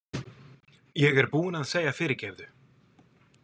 Ég er búinn að segja fyrirgefðu